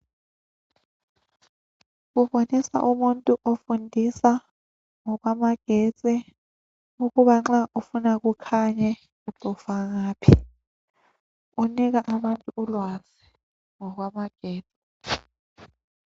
Kubonisa umuntu ofundisa ngokwamagetsi. Ukuba nxa ufuna kukhanye, ucofa ngaphi. Unika abantu ulwazi ngokwamagetsi.